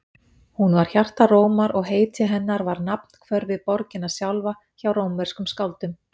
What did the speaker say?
Hún var hjarta Rómar og heiti hennar var nafnhvörf fyrir borgina sjálfa hjá rómverskum skáldum.